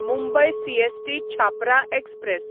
Mumbai CST Chhapra express